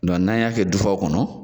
Dɔn n'an y'a kɛ dufaw kɔnɔ.